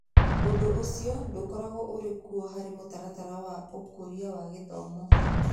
Ũndũ ũcio ndũkoragwo ũrĩ kuo harĩ mũtaratara wa Ũkũria na Githomo.